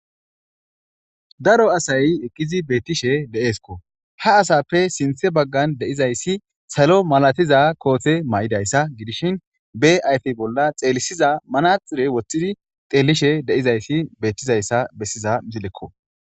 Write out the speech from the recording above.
daro asay eqkizi beettishe de7eeskko ha asappe sinthe baggan deizayssi salo malatiza koothe may7idayssa gidishin be ayfe bolla xeelisiza manaxure wothidi xeellishe deizayssi beettizayssa bessiza msilekko